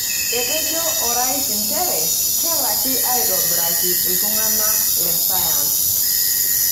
Etejo orais nchere kelalki aitobiraki iltung'ana le sayansi.